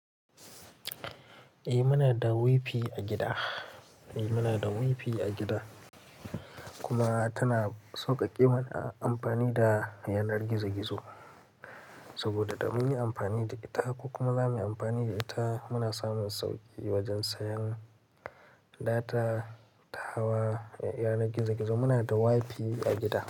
Eh muna da WI-FI a gida, kuma tana sauƙaƙe mana amfani da yanar gizo-gizo. Saboda da mun yi amfani da ita ko kuma ba mu yi amfani da ita, muna samun sauƙi wajen sayan data ta yanar gizo-gizo. Muna da wifi a gida.